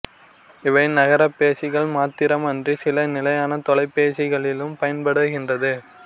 இவை நகர்பேசிகள் மாத்திரம் அன்றி சில நிலையான தொலைபேசிகளிலும் பயன்படுகின்றது